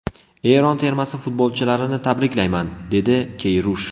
Eron termasi futbolchilarini tabriklayman”, dedi Keyrush.